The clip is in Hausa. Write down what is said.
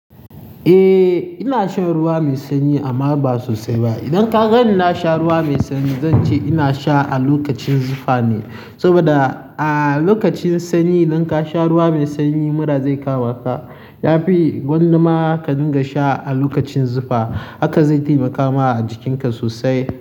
Eh ina shan ruwa mai sanyi amma ba sosai ba. Idan ka ga ni na sha ruwa mai sanyi zan ce ina sha a lokacin zufa ne saboda a lokacin sanyi idan ka sha ruwa mai sanyi mura zai kama ka. Ya fi gwandama ka dinga sha a lokacin zufa haka zai taimakama a jikinka sosai.